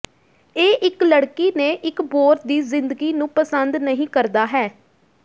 ਇਹ ਇਕ ਲੜਕੀ ਨੇ ਇਕ ਬੋਰ ਦੀ ਜ਼ਿੰਦਗੀ ਨੂੰ ਪਸੰਦ ਨਹੀ ਕਰਦਾ ਹੈ